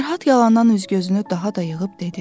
Fərhad yalandan üz-gözünü daha da yığıb dedi.